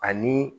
Ani